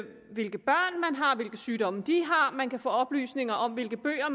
hvilke sygdomme de har man kan få oplysning om hvilke bøger